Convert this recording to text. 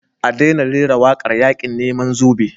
A daina rera wakar yakin neman zabe.